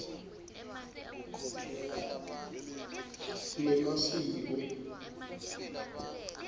nemasiko